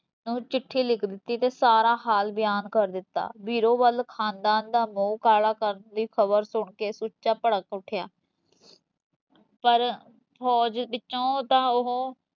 ਨੂੰ ਚਿਠੀ ਲਿਖ ਦਿੱਤੀ ਤੇ ਸਾਰਾ ਹਾਲ ਬਿਆਨ ਕਰ ਦਿੱਤਾ, ਬੀਰੋਂ ਵੱਲ ਖਾਨਦਾਨ ਦਾ ਮੁਹ ਕਾਲ ਕਰਨ ਦੀ ਖਬਰ ਸੁਣ ਕੇ ਸੁੱਚਾ ਭੜਕ ਉੱਠਿਆ ਪਰ, ਫੌਜ ਵਿੱਚੋਂ ਤਾਂ ਉਹ